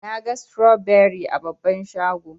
Naga stroberi a babban shago.